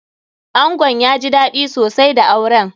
Angon ya ji daɗi sosai da auren.